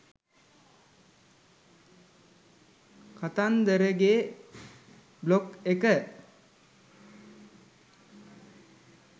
කතන්දරගෙ blog එක